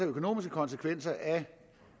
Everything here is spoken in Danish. økonomiske konsekvenser af